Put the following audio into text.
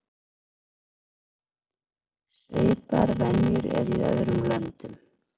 Svipaðar venjur eru í öðrum löndum.